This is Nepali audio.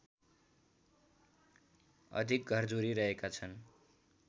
अधिक घरधुरी रहेका छन्